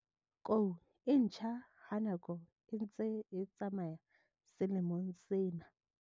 Kou e ntjha ha nako e ntse e tsamaya selemong sena.